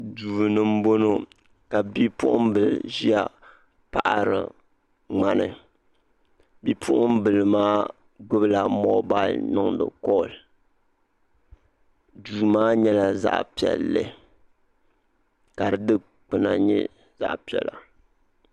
doni n bɔŋɔ ka be poɣimbili ʒɛya paɣiri kpani bipoɣin maa gbala mobili niŋ di koli do maa nyɛ zaɣ piɛli ka di dokpana nyɛ zaɣ piɛla